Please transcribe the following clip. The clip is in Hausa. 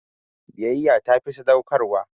Biyyya ta fi sadaukarwa.